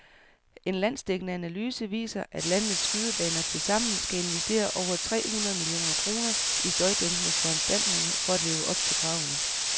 En landsdækkende analyse viser, at landets skydebaner tilsammen skal investere over tre hundrede millioner kroner i støjdæmpende foranstaltninger for at leve op til kravene.